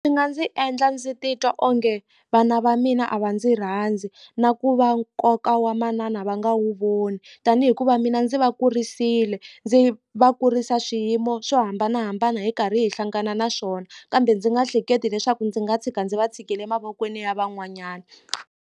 Swi nga ndzi endla ndzi titwa onge vana va mina a va ndzi rhandzi na ku va nkoka wa manana va nga wu voni tani hikuva mina ndzi va kurisile ndzi va kurisa swiyimo swo hambanahambana hi karhi hi hlangana na swona kambe ndzi nga hleketi leswaku ndzi nga tshika ndzi va tshikile mavokweni ya van'wanyana.